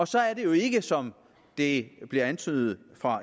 så er det jo ikke som det bliver antydet fra